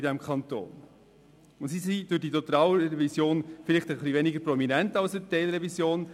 Diese sind in der Totalrevision vielleicht etwas weniger prominent als in der Teilrevision;